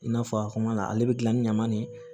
I n'a fɔ a kuma na ale bɛ gilan ni ɲaman ni